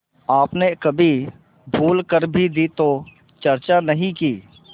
आपने कभी भूल कर भी दी तो चर्चा नहीं की